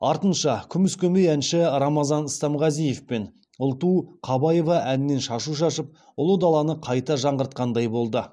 артынша күміс көмей әнші рамазан стамғазиев пен ұлту қабаева әннен шашу шашып ұлы даланы қайта жаңғыртқандай болды